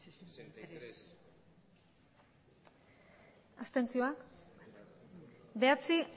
abstentzioa bederatzi